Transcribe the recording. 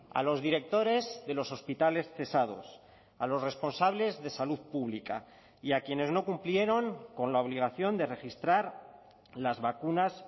a los directores de los hospitales cesados a los responsables de salud pública y a quienes no cumplieron con la obligación de registrar las vacunas